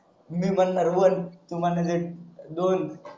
मी म्हणार ONE तू म्हणायच अं दोन